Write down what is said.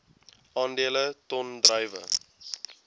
aandele ton druiwe